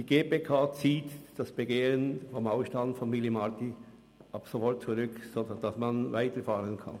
Die GPK zieht das Begehren betreffend den Ausstand von Willy Marti sofort zurück, sodass man weiterfahren kann.